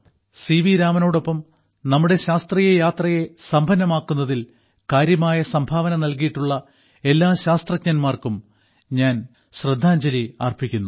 C V രാമനോടൊപ്പം നമ്മുടെ ശാസ്ത്രീയ യാത്രയെ സമ്പന്നമാക്കുന്നതിൽ കാര്യമായ സംഭാവന നൽകിയിട്ടുള്ള എല്ലാ ശാസ്ത്രജ്ഞർക്കും ഞാൻ ശ്രദ്ധാഞ്ജലി അർപ്പിക്കുന്നു